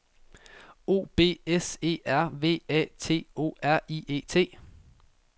O B S E R V A T O R I E T